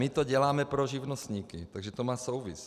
My to děláme pro živnostníky, takže to má souvislost.